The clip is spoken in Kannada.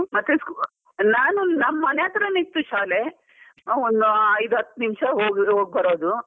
ಮತ್ತೆ, ನಾನು ನಮ್ ಮನೆ ಹತ್ರನೇ ಇತ್ತು ಶಾಲೆ ಅ ಒಂದು ಐದು ಹತ್ತು ನಿಂಷ ಹಾಗಿರೋ ಹೋಗ್ಬರೋದು.